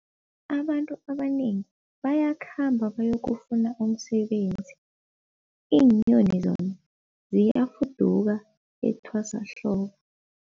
Abantu abanengi bayakhamba bayokufuna umsebenzi, iinyoni zona ziyafuduka etwasahlobo.